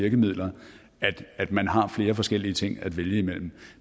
virkemidler at man har flere forskellige ting at vælge imellem